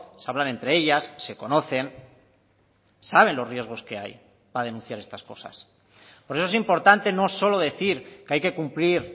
se hablan entre ellas se conocen saben los riesgos que hay para denunciar estas cosas por eso es importante no solo decir que hay que cumplir